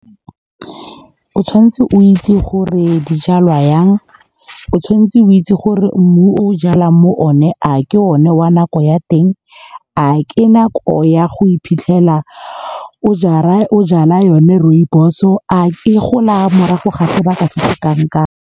O tshwanetse o itse gore dijalwa yang, o tshwanetse o itse gore mmu o jalang moo ne, a ke o ne wa nako ya teng, a ke nako ya go iphitlhela o jala yone rooibos-o, a e gola morago ga sebaka se kang kang.